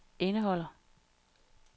indeholder